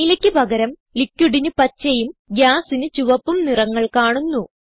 നീലയ്ക്ക് പകരം liquidന് പച്ചയും Gasന് ചുവപ്പും നിറങ്ങൾ കാണുന്നു